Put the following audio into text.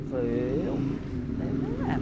Ele falou, eu? né